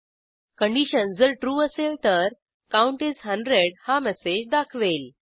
condition जर true असेल तर काउंट इस 100 हा मेसेज दाखवेल